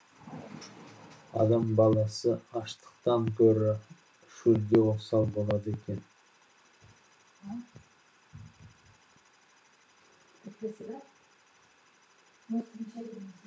адам баласы аштықтан гөрі шөлге осал болады екен